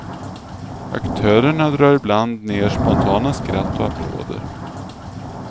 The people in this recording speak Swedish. Aktörerna drar ibland ner spontana skratt och applåder.